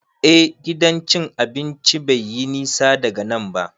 Eh, Gidan cin abinci bai yi nisa daga nan ba.